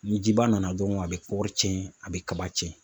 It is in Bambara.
Ni jiba nana dɔrɔnw, a bɛ kɔgɔ cɛn a bɛ kaba tiɲɛ.